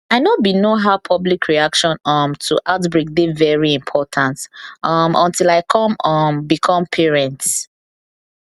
i know bin know how public reaction um to outbreak dey very important um until i come um become parents